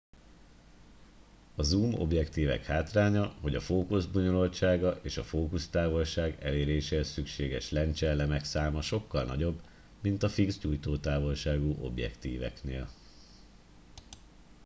a zoom objektívek hátránya hogy a fókusz bonyolultsága és a fókusztávolság eléréséhez szükséges lencseelemek száma sokkal nagyobb mint a fix gyújtótávolságú objektíveknél